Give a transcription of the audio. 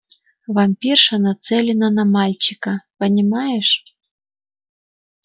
вампирша нацелена на мальчика понимаешь